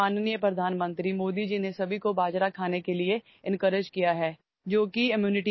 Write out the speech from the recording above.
अलीकडेच माननीय पंतप्रधान मोदीजींनी सर्वांना आपल्या आहारात भरड धान्याचा समावेश करण्यासाठी प्रोत्साहित केले आहे